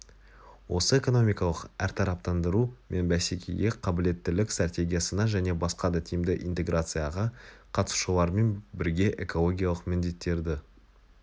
осы экономикалық әртараптандыру мен бәсекеге қабылеттілік стратегиясына және басқа да тиімді интеграцияға қатысушылармен бірге экологиялық міндеттерді